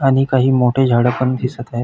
आणि काही मोठी झाड पण दिसत आहेत.